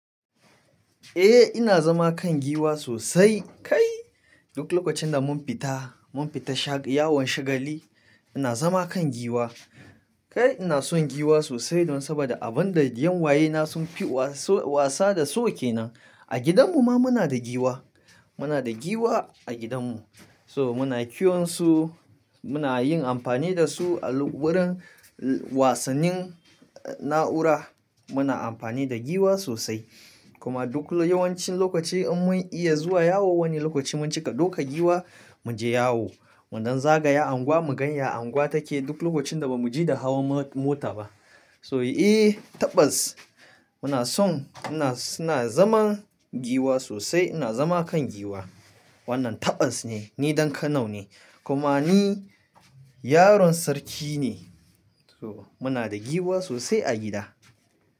Eh ina zama kan giwa sosai. Kai duk lokacin da mun fita, mun fita yawon shagali ina zama kan giwa. Kai ina son giwa sosai don saboda abin da yanwayena sunfi wasa da su ke nan. A gidan mu ma muna da giwa, muna da giwa a gidanmu. So muna kiwon su, muna yin amfani da su a wurin wasannin na'ura muna amfani da giwa sosai. Kuma duk yawancin lokaci in mun iya zuwa yawo wani lokaci mun cika ɗauka giwa mu je yawo. Mu dan zagaya anguwa mu gani ya anguwa take duk lokacin da ba mu ji da hawan mota ba. So eh tabbas muna son suna zaman giwa sosai ina zama kan giwa. Wannan taɓas ne, ni ɗan Kano ne kuma ni yaron sarki ne. To muna da giwa sosai a gida.